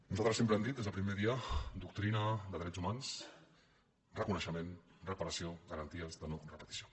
nosaltres sempre hem dit des del primer dia doctrina de drets humans reconeixement reparació garanties de no repetició